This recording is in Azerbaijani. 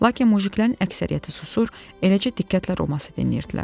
Lakin mujiklərin əksəriyyəti susur, eləcə diqqətlə Roması dinləyirdilər.